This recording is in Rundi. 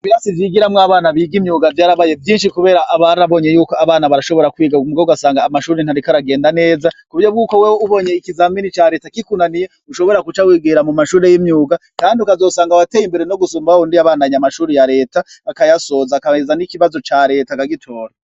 Ibirasi vyigiramwo abana biga imyuga vyarabaye vyinshi kubera barabonye yuko abana barashobora kwiga ariko ugasanga amashure ntariko aragenda neza, ku buryo bwuko wewe ubonye ikizamini ca Reta kikunaniye, ushobora guca wigira mu mashure y'imyuga, kandi ukazosanga wateye imbere no gusumba wawundi yabandanya amashure ya Reta, akayasoza akarenza n'ikibazo ca Reta akagitora.